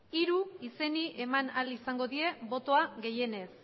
hiru izenei eman ahal izango die botoa gehienez